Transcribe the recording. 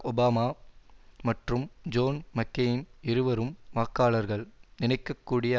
Obama மற்றும் John McCain இருவரும் வாக்காளர்கள் நினைக்க கூடிய